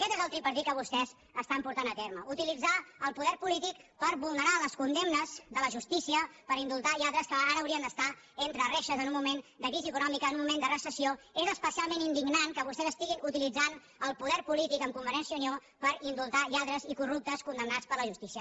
aquest és el tripartit que vostès estan portant a terme utilitzar el poder polític per vulnerar les condemnes de la justícia per indultar lladres que ara haurien d’estar entre reixes en un moment de crisi econòmica en un moment de recessió és especialment indignant que vostès estiguin utilitzant el poder polític amb convergència i unió per indultar lladres i corruptes condemnats per la justícia